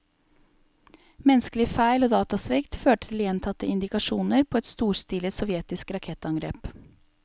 Menneskelige feil og datasvikt førte til gjentatte indikasjoner på et storstilet sovjetisk rakettangrep.